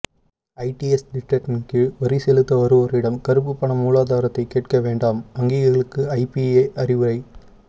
IDS திட்டத்தின்கீழ் வரி செலுத்த வருவோரிடம் கறுப்பு பண மூலாதாரத்தை கேட்க வேண்டாம் வங்கிகளுக்கு ஐபிஏ அறிவுரை